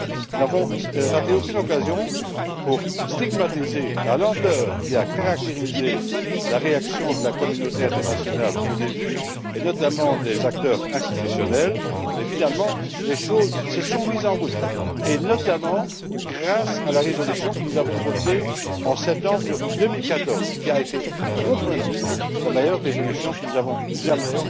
Nous n'avons manqué aucune occasion de stigmatiser la lenteur qui a caractérisé la réaction de la communauté internationale au début, et notamment des acteurs institutionnels et, finalement, les choses se sont mises en route, en particulier grâce à la résolution que nous avons votée en septembre 2014 qui a été, de mon point de vue, la meilleure résolution que nous ayons jamais